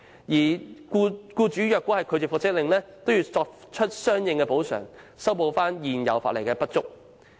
如果僱主拒絕遵行復職令，便須作出補償，此規定可彌補現行法例的不足。